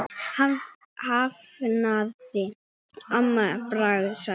hafði amma bara sagt.